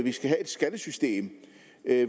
skal have et skattesystem